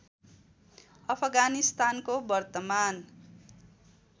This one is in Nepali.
अफगानिस्तानको वर्तमान